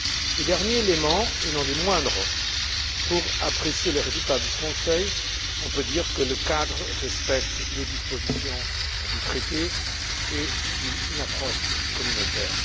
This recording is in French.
Et, dernier élément, et non des moindres, pour apprécier les résultats de ce Conseil, on peut dire que le cadre respecte les dispositions du traité et suit une approche communautaire.